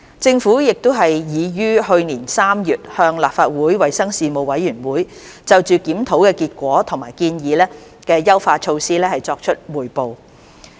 政府已於去年3月向立法會衞生事務委員會就檢討的結果及建議的優化措施作出匯報。